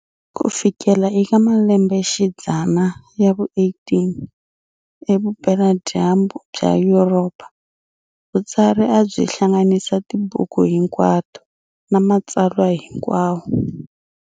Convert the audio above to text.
Kufikela eka malembe xidzana ya vu 18, evupela dyambu bya Yuropa, Vutsari abyi hlanganisa tibuku hinkwati na matsalwa hinkwawo.